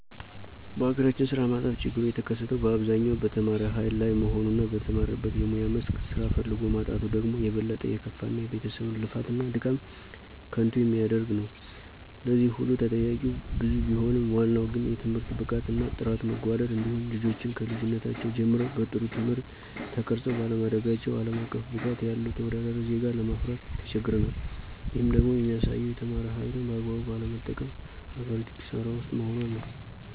በሀገራችን ስራ ማጣት ችግሩ የተከሰተው በአብዛኛው በተማረ ሀይል ላይ መሆኑ እና በተማረበት የሙያ መስክ ስራ ፈልጎ ማጣቱ ደግሞ የበለጠ የከፋ እና የቤተሰብን ልፋት እና ድካም ከንቱ የሚያደርግ ነው። ለዚህ ሁሉ ተጠያቂዉ ብዙ ቢሆንም ዋናው ግን የትምህርት ብቃት እና ጥራት መጓደል እንዲሁም ልጆችን ከልጅነታቸው ጀምረው በጥሩ ትምህርት ተቀርፀው ባለማደጋቸው አለም አቀፍ ብቃት ያለው ተወዳዳሪ ዜጋ ለማፍራት ተቸግረናል። ይህም ደግሞ የሚያሳየው የተማረ ሀይልን በአግባቡ ባለመጠቀም ሀገሪቱ ክሳራ ውስጥ መሆኗን ነው።